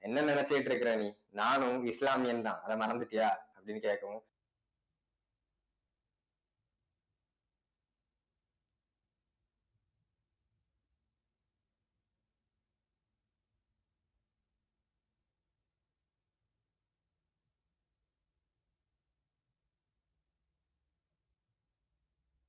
என்ன நினைச்சுட்டு இருக்கிற நீ நானும் இஸ்லாமியன்தான் அத மறந்துட்டியா அப்டினு கேக்கவும்